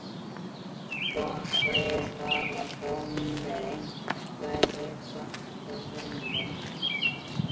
Svo ætlaði ég bara að fá mér einhverja svarta vinnu.